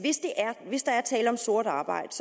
hvis der er tale om sort arbejde